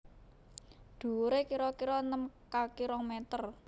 Dhuwure kira kira enem kaki rong meter